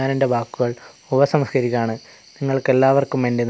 ഞാൻ എന്റെ വാക്കുകൾ ഉപസംഹരിക്കുകയാണ് നിങ്ങൾക്ക് എല്ലാവർക്കും എന്റെ ന--